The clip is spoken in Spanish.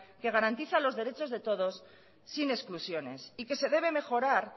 que garantiza los derechos de todos sin exclusiones y que se debe de mejorar